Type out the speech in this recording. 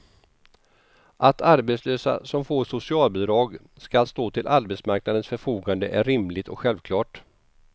Att arbetslösa som får socialbidrag ska stå till arbetsmarknadens förfogande är rimligt och självklart.